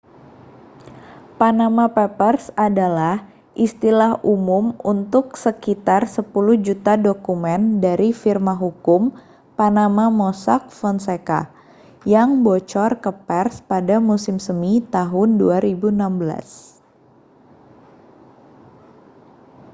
panama papers adalah istilah umum untuk sekitar sepuluh juta dokumen dari firma hukum panama mossack fonseca yang bocor ke pers pada musim semi tahun 2016